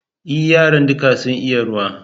E, yaran duka sun iya ruwa